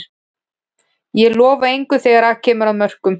Ég lofa engu þegar að kemur að mörkum.